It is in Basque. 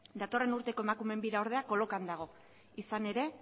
datorren urteko emakumeen bira ordea kolokan dago izan ere